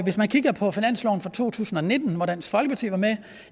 hvis man kigger på finansloven for to tusind og nitten hvor dansk folkeparti var med